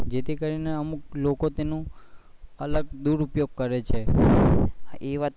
જે થી કરી ને અમુક લોકો તેનો અલગ દુરુપયોગ કરે છે